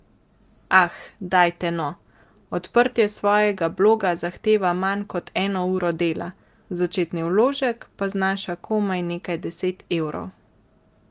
Ah, dajte no, odprtje svojega bloga zahteva manj kot eno uro dela, začetni vložek pa znaša komaj nekaj deset evrov ...